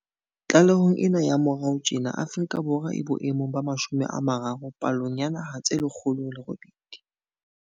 Tlalehong ena ya moraorao tjena Afrika Borwa e bo emong ba 30 palong ya dinaha tse 108.